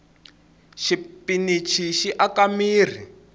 xipinichi xi aka mirhi